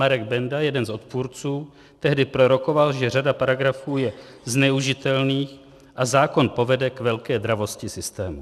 Marek Benda, jeden z odpůrců, tehdy prorokoval, že řada paragrafů je zneužitelných a zákon povede k velké dravosti systému.